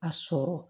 A sɔrɔ